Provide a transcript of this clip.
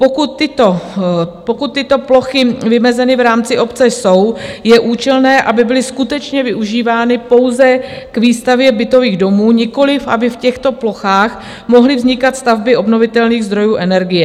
Pokud tyto plochy vymezeny v rámci obce jsou, je účelné, aby byly skutečně využívány pouze k výstavbě bytových domů, nikoli aby v těchto plochách mohly vznikat stavby obnovitelných zdrojů energie.